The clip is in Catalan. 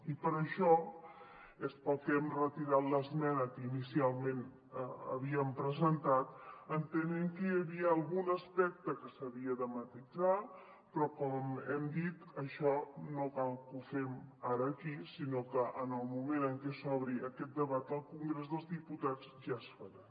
i per això és pel que hem retirat l’esmena que inicialment havíem presentat entenent que hi havia algun aspecte que s’havia de matisar però com hem dit això no cal que ho fem ara aquí sinó que en el moment en què s’obri aquest debat al congrés dels diputats ja es farà